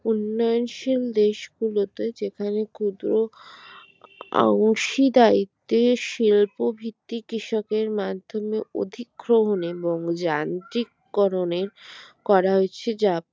উন্নয়নশীল দেশগুলোতে যেখানে ক্ষুদ্র আংশি দায়িত্বে শিল্প ভিত্তি কৃষকের মাধ্যমে অধিকগ্রহণে এবং যান্ত্রিকরণে করা হয়েছে যা